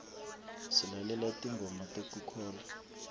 silalela tingoma tekukholwa